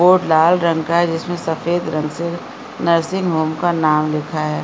और लाल रंग का जिसमे सफ़ेद रंग से नर्सिंग होम का नाम लिखा है।